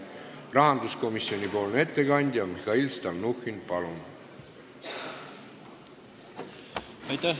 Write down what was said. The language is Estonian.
Rahanduskomisjoni ettekandja Mihhail Stalnuhhin, palun!